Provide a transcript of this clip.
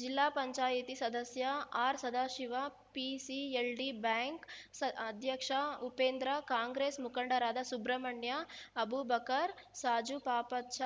ಜಿಲ್ಲಾ ಪಂಚಾಯಿತಿ ಸದಸ್ಯ R Sadashiva PCLD bank ಸ ಅಧ್ಯಕ್ಷ ಉಪೇಂದ್ರ ಕಾಂಗ್ರೆಸ್‌ ಮುಖಂಡರಾದ ಸುಬ್ರಮಣ್ಯ ಅಬೂಬಕರ್‌ ಸಾಜುಪಾಪಚ್ಚ